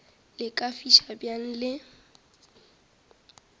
le ka fiša bjang le